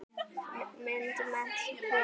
Smíði- myndmennt- prjóna